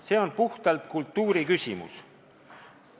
See on puhtalt kultuuri küsimus.